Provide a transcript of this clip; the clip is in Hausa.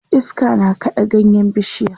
iska na kaɗa ganyen bishiyar